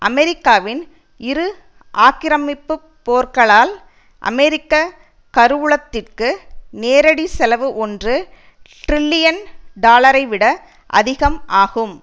அமெரிக்காவின் இரு ஆக்கிரமிப்பு போர்களால் அமெரிக்க கருவூலத்திற்கு நேரடிச் செலவு ஒன்று டிரில்லியன் டாலரைவிட அதிகம் ஆகும்